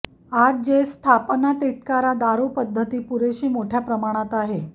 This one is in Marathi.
आज जे स्थापना तिटकारा दारू पद्धती पुरेशी मोठ्या प्रमाणात आहे